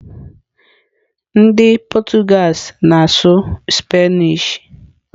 Ndị Portuguese na-asụ Spanish.